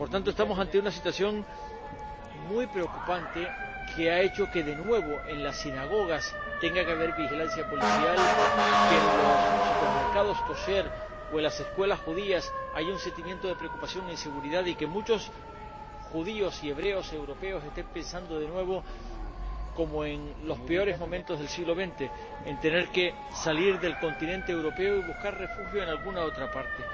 Estamos ante una situación muy preocupante que ha hecho que de nuevo en las sinagogas tenga que haber vigilancia policial, que en los supermercados kosher o en las escuelas judías haya un sentimiento de preocupación e inseguridad y que muchos judíos y hebreos europeos estén pensando de nuevo, como en los peores momentos del siglo XX, en tener que salir del continente europeo y buscar refugio en alguna otra parte.